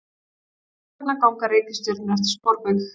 Hvers vegna ganga reikistjörnur eftir sporbaug?